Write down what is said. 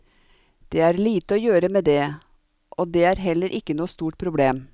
Det er lite å gjøre med det, og det er heller ikke noe stort problem.